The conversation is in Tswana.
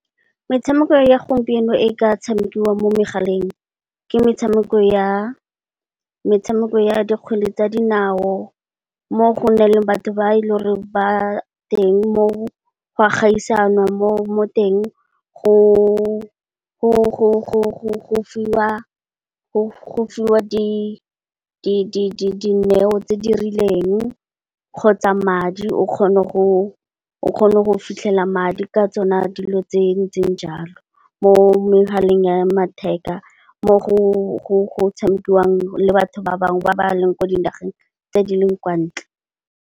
Motshameko wa gompieno o ka tshamekiwang mo megaleng ke motshameko wa kgwele ya dinao mo go na le batho ba e le gore go a gaiswana mo teng go fiwa dineo tse di rileng kgotsa, o kgone go fitlhela madi ka tsona dilo tse ntseng jalo mo megaleng ya matheka, mo go tshamikiwang le batho ba bangwe ba ba leng ko dinageng tse di leng kwa ntle.